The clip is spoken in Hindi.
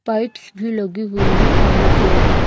पाईप्स भी लगी हुई हैं पानी के लिए।